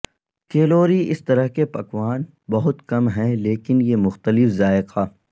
calorie اس طرح کے پکوان بہت کم ہیں لیکن یہ مختلف ذائقہ